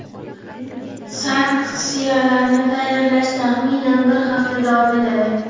sanksiyalarni tayyorlash taxminan bir hafta davom etadi.